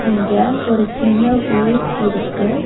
இங்க ஒரு சின்ன ஊர் இருக்கு.